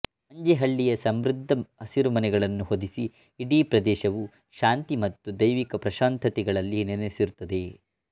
ಮಂಜೇಹಳ್ಳಿ ಸಮೃದ್ಧ ಹಸಿರುಮನೆಗಳನ್ನು ಹೊದಿಸಿ ಇಡೀ ಪ್ರದೇಶವು ಶಾಂತಿ ಮತ್ತು ದೈವಿಕ ಪ್ರಶಾಂತತೆಗಳಲ್ಲಿ ನೆನೆಸಿರುತ್ತದೆ